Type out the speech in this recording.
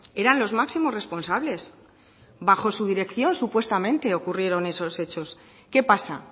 eran los máximos responsables bajo su dirección supuestamente ocurrieron estos hechos qué pasa